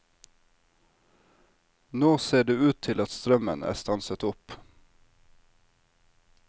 Nå ser det ut til at strømmen er stanset opp.